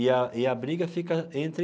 E a e a briga fica entre